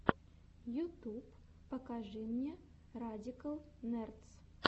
ютюб покажи мне радикал нердс